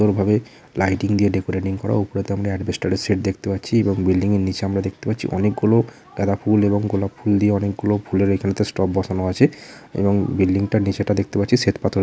Lighting দিয়ে decorating করা উপরে তো আমরা এডবেস্টার -এর সেড দেখতে পাচ্ছি এবং বিল্ডিং -এর নীচে আমরা দেখতে পাচ্ছি অনেকগুলো গাঁদা ফুল এবং গোলাপ ফুল দিয়ে অনেকগুলো ফুলের এইখানে তো টব বসানো আছে এবং বিল্ডিং -টার নীচেটা দেখতে পাচ্ছি শ্বেত পাথর দিয়ে মোড়া।